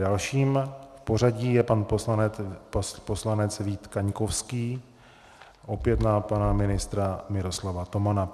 Dalším v pořadí je pan poslanec Vít Kaňkovský, opět na pana ministra Miroslava Tomana.